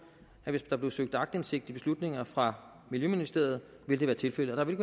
at hvis der blev søgt aktindsigt i beslutninger fra miljøministeriet ville det være tilfældet der vil